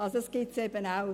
Dies gibt es auch.